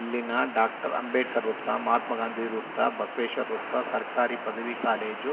ಇಲ್ಲಿನ ಡಾಕ್ಟರ್ ಅಂಬೇಡ್ಕರ್‌ ವೃತ್ತ ಮಹಾತ್ಮಾ ಗಾಂಧಿ ವೃತ್ತ ಬಸವೇಶ್ವರ ವೃತ್ತ ಸರ್ಕಾರಿ ಪದವಿ ಕಾಲೇಜು